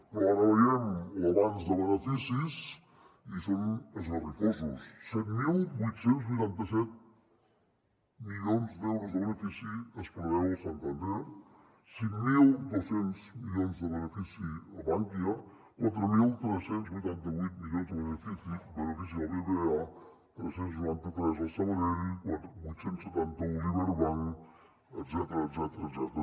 però ara veiem l’avanç de beneficis i són esgarrifosos set mil vuit cents i vuitanta set milions d’euros de benefici es preveu al santander cinc mil dos cents milions de benefici a bankia quatre mil tres cents i vuitanta vuit milions de benefici al bbva tres cents i noranta tres al sabadell vuit cents i setanta un liberbank etcètera etcètera etcètera